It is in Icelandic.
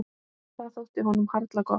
Það þótti honum harla gott.